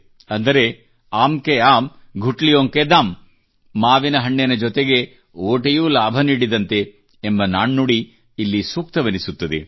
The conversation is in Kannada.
ಅಂದರೆ ಆಮ್ ಕೆ ಆಮ್ ಗುಟಲಿಯೋಂಕೆ ದಾಮ್ ಮಾವಿನ ಹಣ್ಣಿನ ಜೊತೆಗೆ ವಾಟೆಯೂ ಲಾಭ ನೀಡಿದಂತೆ ಎಂಬ ನಾಣ್ಣುಡಿ ಇಲ್ಲಿ ಸೂಕ್ತವೆನಿಸುತ್ತದೆ